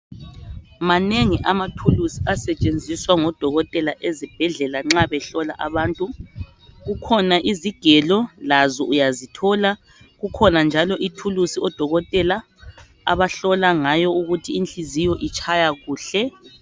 Manengi amathuluzi asetshenziswa ngodokotela ezibhedlela nxa behlola abantu. Kukhona izigelo lazo uyazithola. Kukhona njalo ithuluzi odokotela abahlola ngayo ukuthi inhliziyo itshaya kuhle.